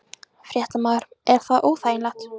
Fréttamaður: Er það óþægilegt?